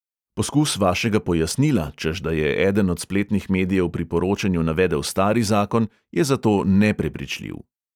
Poskus vašega pojasnila, češ da je eden od spletnih medijev pri poročanju navedel stari zakon, je zato neprepričljiv.